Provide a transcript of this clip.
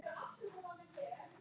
Líkami hennar logaði af þrá.